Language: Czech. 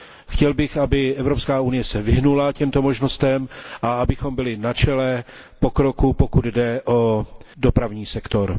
Chtěl bych, aby se Evropská unie vyhnula těmto možnostem a abychom byli na čele pokroku, pokud jde o dopravní sektor.